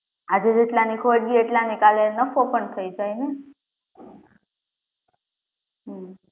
આજે જેટલા ની ખોટ ગયી કાલે એટલા ની નફો પણ થઇ જાય ને, હમ્મ